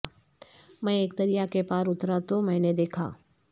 میں اک دریا کے پار اترا تو میں نے دیکھا